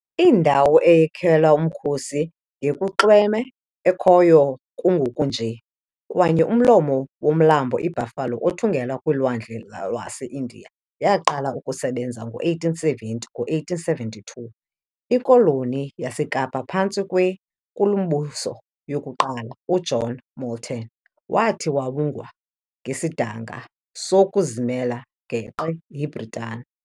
Indawo eyakhelwa umkhosi ngakunxweme ekhoyo kungoku nje, kanye kumlomo womlambo iBuffalo, othungela kwilwandle lwaseIndiya, yaqala ukusebenza ngo-1870. Ngo-1872, ikoloni yaseKapa, phantsi kweNkulumbuso yokuqala uJohn Molteno, wathi wawongwa ngesidanga sokuzimela geqe yiBritani.